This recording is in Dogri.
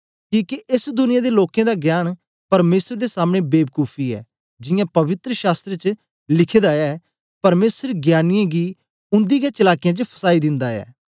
किके एस दुनिया दे लोकें दा ज्ञान परमेसर दे सामने बेबकूफी ऐ जियां पवित्र शास्त्र च लिखे दा ऐ परमेसर ज्ञानीयें गी उन्दी गै चलाकीयें च फसाई दिन्दा ऐ